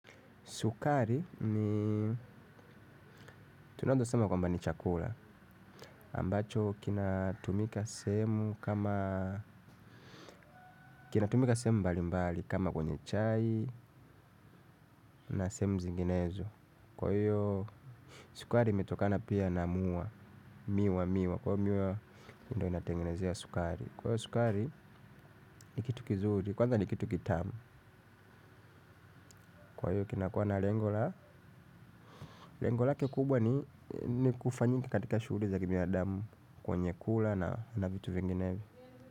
Sukari ni tunaeza sema kwamba ni chakula, ambacho kinatumika sehemu mbali mbali kama kwenye chai na sehemu zinginezo. Kwa hiyo sukari imetokana pia na mua, miwa miwa, kwa hiyo miwa ndiyo inatengenezea sukari. Kwa hiyo sukari ni kitu kizuri, kwanza ni kitu kitamu. Kwa hiyo kinakuwa na lengo la, lengo lake kubwa ni kufanyika katika shuguli za kibinadamu kwenye kula na vitu vingenevyo.